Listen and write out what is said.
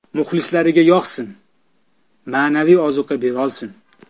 Muxlislarga yoqsin, ma’naviy ozuqa berolsin.